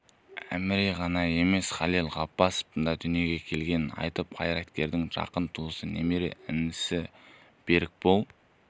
әміре ғана емес халел ғаббасовтың да дүниеге келгенін айтып қайраткердің жақын туысы немере інісі берікбол